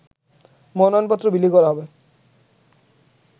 মনোনয়নপত্র বিলি করা হবে